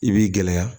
I b'i gɛlɛya